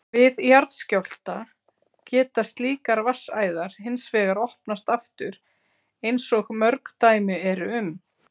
Við jarðskjálfta geta slíkar vatnsæðar hins vegar opnast aftur eins og mörg dæmi eru um.